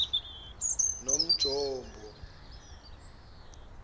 nonjombo